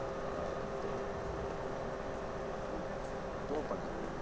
હ તો તો પણ